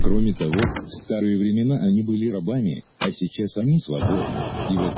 кроме того в старые времена они были рабами а сейчас они свободны и в этом